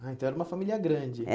Ah, então era uma família grande.